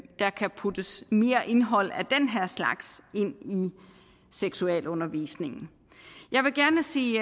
der kan puttes mere indhold af den her slags ind i seksualundervisningen jeg vil gerne sige